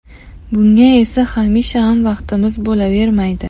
Bunga esa hamisha ham vaqtimiz bo‘lavermaydi.